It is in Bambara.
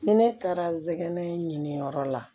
Ni ne taara n sɛgɛn ɲini yɔrɔ la